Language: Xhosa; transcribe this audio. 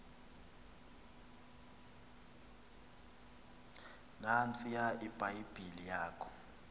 nantsiya ibhayibhile yakho